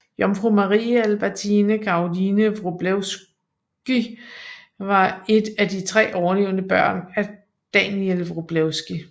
Jomfru Marie Albertine Caroline Wroblewsky var et af tre overlevende børn af Daniel Wroblewsky